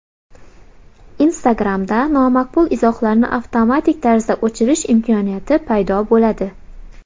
Instagram’da nomaqbul izohlarni avtomatik tarzda o‘chirish imkoniyati paydo bo‘ladi.